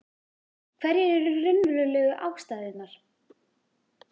Hverjar eru raunverulegu ástæðurnar?